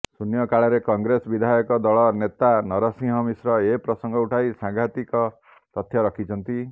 ଶୂନ୍ୟକାଳରେ କଂଗ୍ରେସ ବିଧାୟକ ଦଳ ନେତା ନରସିଂହ ମିଶ୍ର ଏପ୍ରସଙ୍ଗ ଉଠାଇ ସାଙ୍ଘାତିକ ତଥ୍ୟ ରଖିଛନ୍ତି